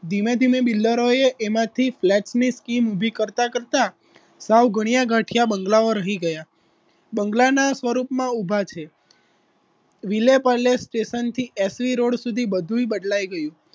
ધીમે ધીમે builder એ એમાંથી flat ની scheme ઉભી કરતા કરતા સાવ ગણ્યા ગાંઠિયા બંગલાઓ રહી ગયા બંગલાના સ્વરૂપમાં ઊભા છે વિલેપાલે સ્ટેશનથી એસ વી રોડ સુધી બધું બદલાઈ ગયું